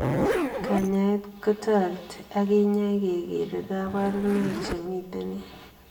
Kanyaet kotoreti akinyai kegeree kabarunoik chemitei eng